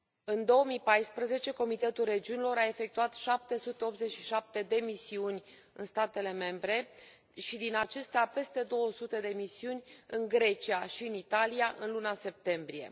În 2014, Comitetul Regiunilor a efectuat 787 de misiuni în statele membre și, din acestea, peste 200 de misiuni în Grecia și în Italia, în luna septembrie.